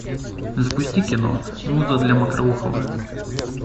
запусти кино муза для мокроухова